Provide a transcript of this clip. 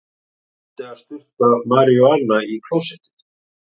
Reyndi að sturta maríjúana í klósettið